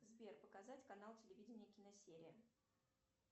сбер показать канал телевидения киносерия